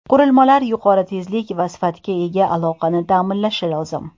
Qurilmalar yuqori tezlik va sifatga ega aloqani ta’minlashi lozim.